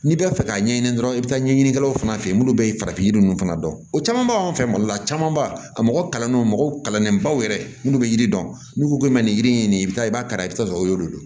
N'i bɛ fɛ ka ɲɛɲini dɔrɔn i bɛ taa ɲɛɲinikɛlaw fana fɛ yen minnu bɛ farafin yiri ninnu fana dɔn o caman b'an fɛ mali la camanba a mɔgɔ kalannenw mɔgɔw kalannen baw yɛrɛ munnu bɛ yiri dɔn n'u ko k'u bɛ nin yiri in i bɛ taa i b'a kala i bɛ taa sɔrɔ o y'olu de don